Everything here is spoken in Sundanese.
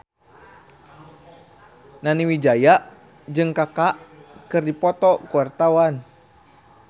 Nani Wijaya jeung Kaka keur dipoto ku wartawan